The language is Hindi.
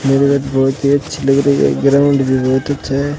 मेरा घर बहोत ही अच्छी लग रही है ग्राउंड भी बहोत अच्छा है।